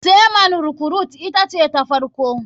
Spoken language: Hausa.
Sea man recruite ita ce ta farko.